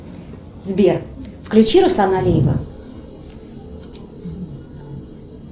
сбер включи руслана алиева